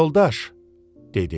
Yoldaş, dedi.